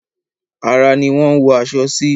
Ara ni wọ́n ń wọ aṣọ sí.